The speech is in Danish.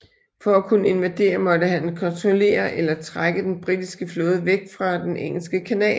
For at kunne invadere måtte han kontrollere eller trække den britiske flåde væk fra den engelske kanal